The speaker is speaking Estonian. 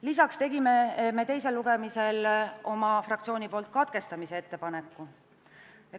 Lisaks tegi meie fraktsioon teisel lugemisel menetluse katkestamise ettepaneku.